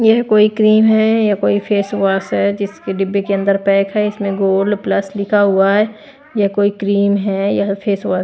ये कोई क्रीम है या कोई फेस वाश है जिसके डिब्बे के अंदर पैक है इसमें गोल्ड प्लस लिखा हुआ है ये कोई क्रीम है या फेस वाश --